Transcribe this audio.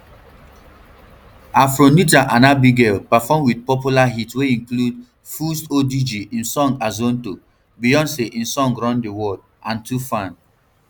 afronitaa and abigail perform wit popular hits wey include fuse odg im song azonto beyonc im song run the world and toofan